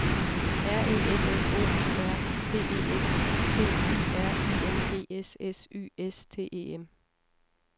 R E S S O U R C E S T Y R I N G S S Y S T E M